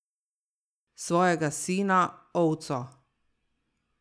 Svojega sina, ovco!